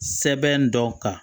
Sɛbɛn dɔ kan